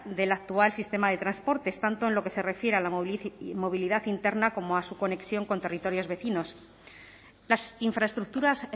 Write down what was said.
del actual sistema de transportes tanto en lo que se refiere a la movilidad interna como a su conexión con territorios vecinos las infraestructuras